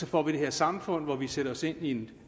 får et samfund hvor vi sætter os ind i en